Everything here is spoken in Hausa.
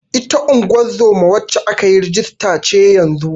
Ita ungozoma wacce aka yi rajista ce yanzun.